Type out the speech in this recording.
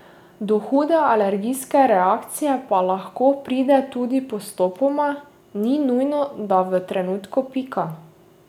Do hude alergijske reakcije pa lahko pride tudi postopoma, ni nujno, da v trenutku pika.